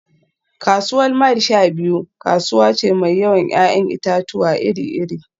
Kasuwar Mile-sha-biyu kasuwa ce mai yawan 'ya'yan itatuwa iri-iri